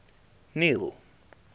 neil